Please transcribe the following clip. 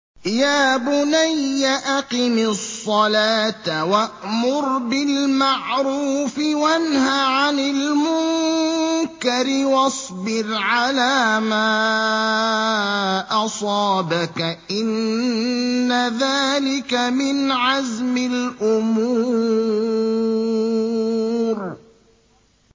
يَا بُنَيَّ أَقِمِ الصَّلَاةَ وَأْمُرْ بِالْمَعْرُوفِ وَانْهَ عَنِ الْمُنكَرِ وَاصْبِرْ عَلَىٰ مَا أَصَابَكَ ۖ إِنَّ ذَٰلِكَ مِنْ عَزْمِ الْأُمُورِ